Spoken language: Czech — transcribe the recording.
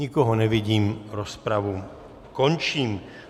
Nikoho nevidím, rozpravu končím.